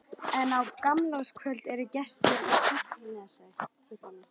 En á gamlárskvöld eru gestir í Tröllanesi.